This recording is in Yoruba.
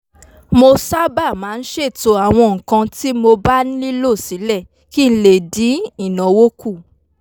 mo sábà máa ń ṣètò àwọn nǹkan tí mo bá nílò sílẹ̀ kí n lè dín ìnáwó kù